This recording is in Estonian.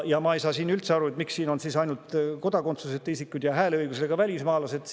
Ja ma ei saa üldse aru, miks siin on ainult kodakondsuseta isikuid ja hääleõigusega välismaalasi.